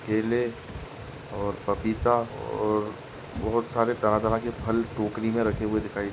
केले और पपीता और बहुत सारे तरह तरह के फल टोकरी में रखे हुये दिखाई--